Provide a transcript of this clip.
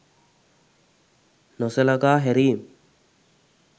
නොසලකා හැරීම්